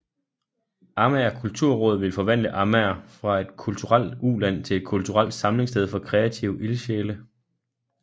Amager Kulturråd ville forvandle Amager fra et kulturelt uland til et kulturelt samlingssted for kreative ildsjæle